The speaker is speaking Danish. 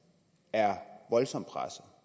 herre joachim olsen